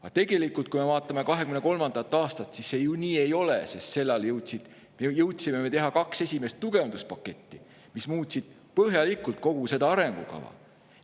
" Aga tegelikult, kui me vaatame 2023. aastat, siis nii see ju ei ole, sest sel ajal jõudsime me teha kaks esimest tugevduspaketti, mis muutsid põhjalikult kogu seda arengukava.